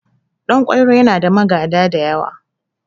Ɗan kwairo yana da magada da yawa